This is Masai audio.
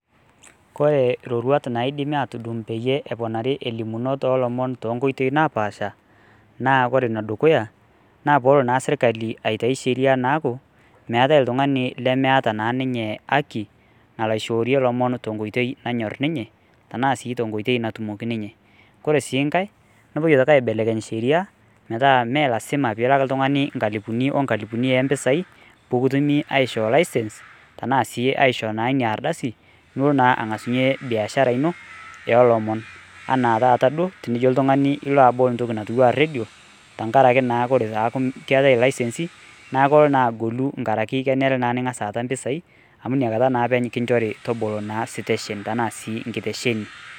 kore roruat naidimi atudung peyie eponari elimunot olomon tonkoitei napaasha naa kore nedukuya naa poolo naa sirkali aitai naaku meetae iltung'ani lemeeta naa ninye haki nalo aishoorie ilomon tonkoitei nanyorr ninye tanaa sii tonkoitei natumoki ninye kore sii nkae nopuoi aitoki aibelekeny sheria metaa melasima pilak iltung'ani nkalipuni onkalipuni empisai pukutumi aishoo license tenaa sii aishoo naa inia ardasi nulo naa ang'asunyie biashara ino eolomon anaa taata duo tenijo oltung'ani ilo abol ntoki natiwua redio tenkarake naa kore takuu keetae ilaisensi naa kolo naa agolu nkarake kenere naa ning'as aata mpisai amu iniakata naa epeny kinchori tobolo naa siteshen tanaa sii nkitesheni.